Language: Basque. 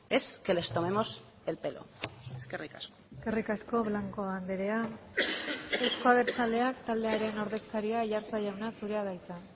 es que les tomemos el pelo eskerrik asko eskerrik asko blanco andrea euzko abertzaleak taldearen ordezkaria aiartza jauna zurea da hitza